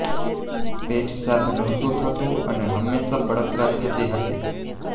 પેટ સાફ નહોતુ થતું અને હંમેશા બળતરા થતી હતી